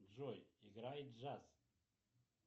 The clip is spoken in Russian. джой играй джаз